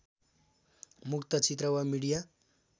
मुक्त चित्र वा मिडिया